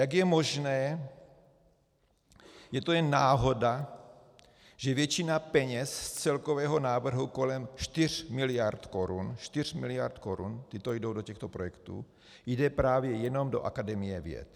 Jak je možné, je to jen náhoda, že většina peněz z celkového návrhu kolem 4 miliard korun - 4 miliard korun, tyto jdou do těchto projektů - jde právě jenom do Akademie věd?